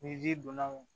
Ni ji donna o